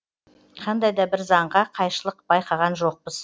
қандай да бір заңға қайшылық байқаған жоқпыз